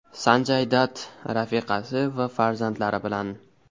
Sanjay Datt rafiqasi va farzandlari bilan.